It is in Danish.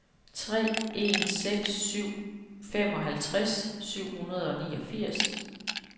tre en seks syv femoghalvtreds syv hundrede og niogfirs